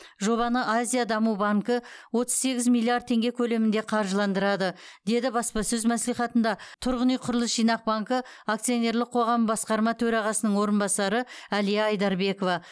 жобаны азия даму банкі отыз сегіз миллиард теңге көлемінде қаржыландырады деді баспасөз мәслихатында тұрғын үй құрылыс жинақ банкі акционерлік қоғамы басқарма төрағасының орынбасары әлия айдарбекова